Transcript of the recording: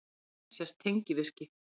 Á myndinni sést tengivirki.